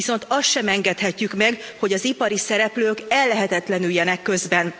Viszont azt sem engedhetjük meg, hogy az ipari szereplők ellehetetlenüljenek közben.